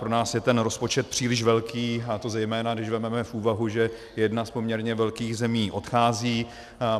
Pro nás je ten rozpočet příliš velký, a to zejména když vezmeme v úvahu, že jedna z poměrně velkých zemí odchází.